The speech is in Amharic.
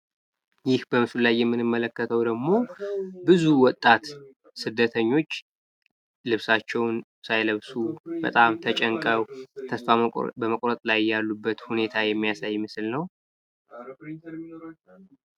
ይህ በምስሉ ላይ የምንመለከተው ደሞ ብዙ ወጣት ስደተኞች ልብሳቸውን ሳይለብሱ፣ በጣም ተጨንቀው፣ ተስፋ በመቁረጥ ስሜት ያሉበት ሁኔታ የሚያሳይ ምስል ነው።